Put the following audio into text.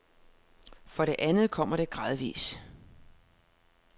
For det andet kommer det gradvis.